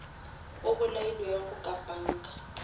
a bolailwego ka panga